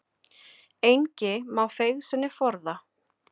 Engi má feigð sinni forða.